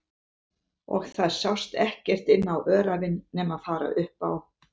Og það sást ekkert inn á öræfin nema fara upp á